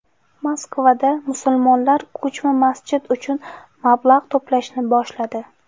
Moskvada musulmonlar ko‘chma masjid uchun mablag‘ to‘plashni boshladi.